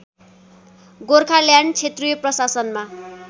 गोर्खाल्यान्ड क्षेत्रीय प्रशासनमा